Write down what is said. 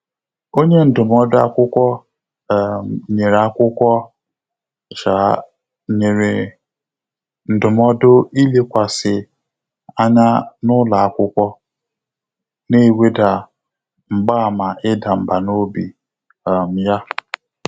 Ọ́nyé ndụ́mọ́dụ́ ákwụ́kwọ́ um nyèrè ákwụ́kwọ́ um nyèrè ndụ́mọ́dụ́ ìlékwàsị́ ányá n’ụ́lọ́ ákwụ́kwọ́, nà-èwédà mgbààmà ị́dà mbà n’óbí um yá.